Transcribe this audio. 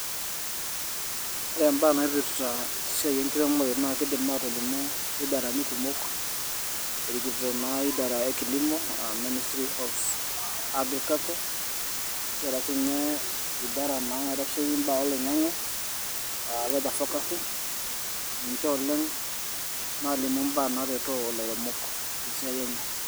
Ore imbaa naipirta esiai enkiremore naa kiidim aatolimu idarani kumok, erikito naa idara e kilimo aa Ministry of Agriculture. Kiata siinye idara naa naitasheiki imbaa oloing'ang'e aa weather forecasting, ninche oleng' naalimu imbaa naaretoo ilairemok te esiai enye.